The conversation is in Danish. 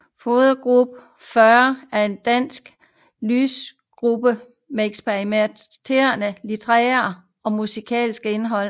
Frodegruppen40 er en dansk lyrikgruppe med eksperimenterende litterært og musikalsk indhold